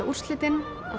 úrslitin